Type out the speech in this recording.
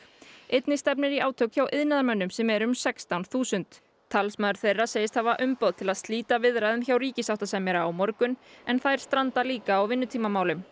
einnig stefnir í átök hjá iðnaðarmönnum sem eru um sextán þúsund talsmaður þeirra segist hafa umboð til að slíta viðræðum hjá sáttasemjara á morgun þær stranda líka á vinnutímamálum